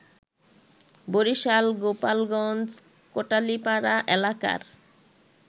বরিশাল, গোপালগঞ্জ, কোটালীপাড়া এলাকার